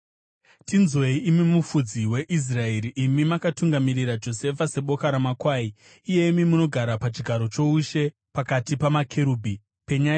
Tinzwei, imi Mufudzi weIsraeri, imi makatungamirira Josefa seboka ramakwai; iyemi munogara pachigaro choushe pakati pamakerubhi, penyai